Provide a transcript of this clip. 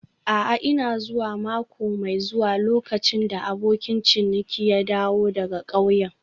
A'a, I. zuwa mako mai zuwa lokacin da abokin ciniki ya dawo daga ƙauyen.